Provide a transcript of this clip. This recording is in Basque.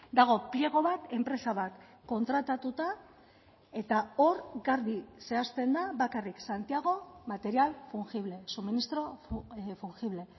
dago pliego bat enpresa bat kontratatuta eta hor garbi zehazten da bakarrik santiago material fungible suministro fungible